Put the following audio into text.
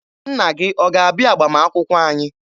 Nna gị ọ ga-abịa agbamakwụkwọ anyị?